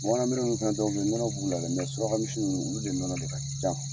Bamanan miri ninnu fana filɛ nɔnɔ b'u la dɛ suraka misi olu de nɔnɔ de ka ca.